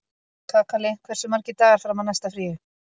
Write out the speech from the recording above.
Kakali, hversu margir dagar fram að næsta fríi?